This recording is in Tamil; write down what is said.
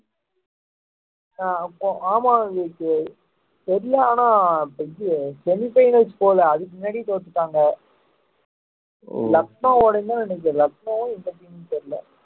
ஆஹ் கோ~ ஆமா பெரிய ஆனா semi finals போகலை அதுக்கு முன்னாடி தோத்துட்டாங்க